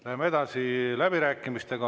Läheme edasi läbirääkimistega.